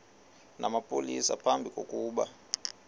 namapolisa phambi kokuba